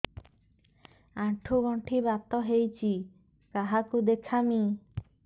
ଆଣ୍ଠୁ ଗଣ୍ଠି ବାତ ହେଇଚି କାହାକୁ ଦେଖାମି